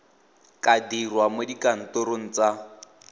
ka dirwa mo dikantorong tsa